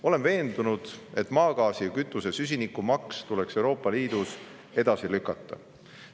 Olen veendunud, et maagaasi ja kütuse süsiniku maks tuleks Euroopa Liidus edasi lükata.